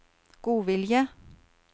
godvilje